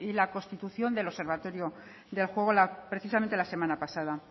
la constitución del observatorio del juego precisamente la semana pasada